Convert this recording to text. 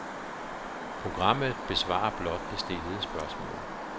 Programmet besvarer blot det stillede spørgsmål.